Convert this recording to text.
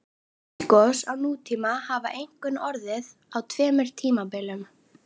Eldgos á nútíma hafa einkum orðið á tveimur tímabilum.